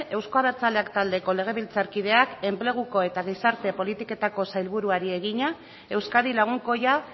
euzko abertzaleak taldeko legebiltzarkideak enpleguko eta gizarte politiketako sailburuari egina euskadi lagunkoia